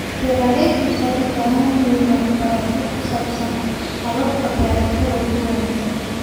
Beeraleydu waxay u baahan yihiin waxbarasho ku saabsan hababka beerashada ugu wanaagsan.